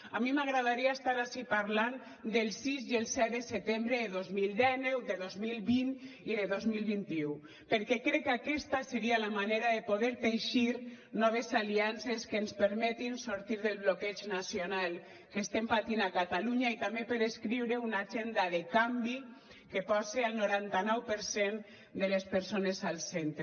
a mi m’agradaria estar ací parlant del sis i el set de setembre de dos mil dinou de dos mil vint i de dos mil vint u perquè crec que aquesta seria la manera de poder teixir noves aliances que ens permetin sortir del bloqueig nacional que estem patint a catalunya i també per escriure una agenda de canvi que posi el noranta nou per cent de les persones al centre